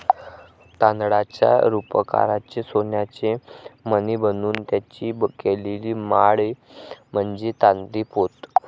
तांदळाच्या रुपकाराचे सोन्याचे मणी बनून त्यांची केलेली माळ म्हणजे तांदळी पोत.